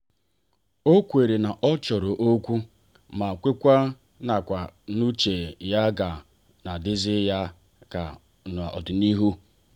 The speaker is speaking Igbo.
o kweere na ọ chọrọ okwu ma kwekwa nkwa n'uche ya ga-adizi ya na n'ọdịnihu.